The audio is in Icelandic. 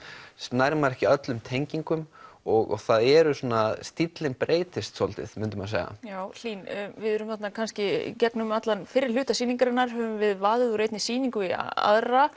nær maður ekki öllum tengingum og það eru svona stíllinn breytist svolítið myndi maður segja já Hlín við erum þarna kannski gegnum allan fyrri hluta sýningarinnar höfum við vaðið úr einni sýningu í aðra